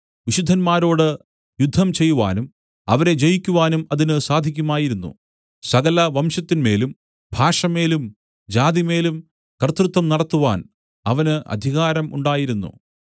വിശുദ്ധന്മാരോട് യുദ്ധം ചെയ്യുവാനും അവരെ ജയിക്കുവാനും അതിന് സാധിക്കുമായിരുന്നു സകല വംശത്തിന്മേലും ഭാഷമേലും ജാതിമേലും കർത്തൃത്വം നടത്തുവാൻ അവന് അധികാരം ഉണ്ടായിരുന്നു